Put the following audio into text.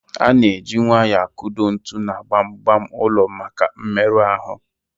A na eji nwayọọ akụdo ntu na gbam gbam ụlọ maka mmerụ ahụ